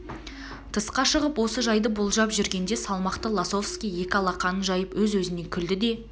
тысқа шығып осы жайды болжап жүргенде салмақты лосовский екі алақанын жайып өз өзінен күлді де